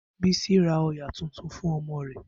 Bisi ra òyà tuntun fún ọmọ rẹ̀